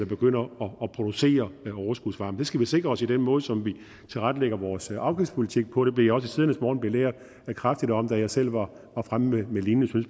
begynder at producere overskudsvarme det skal vi sikre os i den måde som vi tilrettelægger vores afgiftspolitik på det blev jeg også i tidernes morgen belært kraftigt om da jeg selv var fremme med lignende